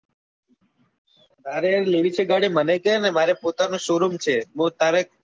તારે લેવી છે ગાડી મને કે ને મરેક પોતાનો showroom છે.